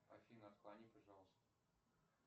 афина отклони пожалуйста